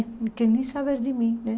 Não quer nem saber de mim, né?